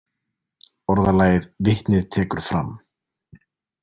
Orðalagið „Vitnið tekur fram“